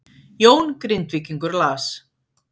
Jón Grindvíkingur las